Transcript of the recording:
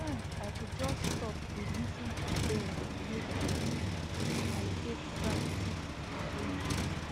sometimes i go just stop dey lis ten to birds make um i take practice awareness